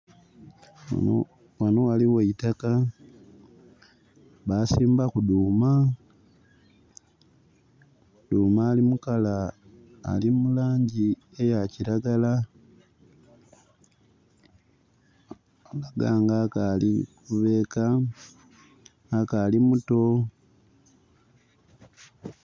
Wano waliwo eitakka basimbaku duuma. Duuma ali mulangi eya kiragala alaga nga akali kubeeka akali mutto.